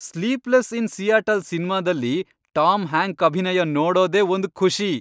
Sleepless in Seattle ಸಿನ್ಮಾದಲ್ಲಿ Tom Hank ಅಭಿನಯ ನೋಡೋದೇ ಒಂದ್ ಖುಷಿ.